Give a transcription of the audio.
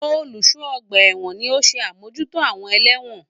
Olùṣọ́ ọgbà ẹ̀wọ̀n ni ó ń ṣe àmójútó àwọn ẹlẹ́wọ̀n.